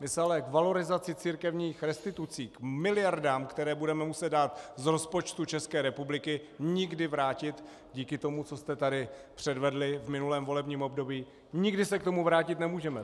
My se ale k valorizaci církevních restitucí, k miliardám, které budeme muset dát z rozpočtu České republiky, nikdy vrátit, díky tomu, co jste tady předvedli v minulém volebním období, nikdy se k tomu vrátit nemůžeme.